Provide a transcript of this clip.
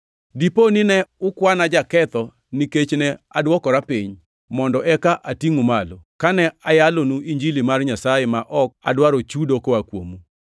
Dipo nine ukwana jaketho nikech ne adwokora piny, mondo eka atingʼu malo, kane ayalonu Injili mar Nyasaye ma ok adwaro chudo koa kuomu?